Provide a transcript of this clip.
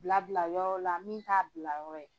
Bila bila yɔrɔ la min t'a bila yɔrɔ ye.